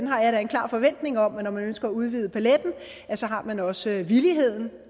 har jeg da en klar forventning om at når man ønsker at udvide paletten har man også villigheden